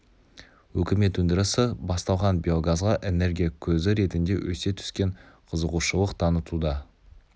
үкімет өндірісі басталған биогазға энергия көзі ретінде өсе түскен қызығушылық танытуда